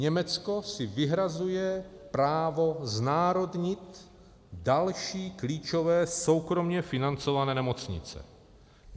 Německo si vyhrazuje právo znárodnit další klíčové soukromě financované nemocnice.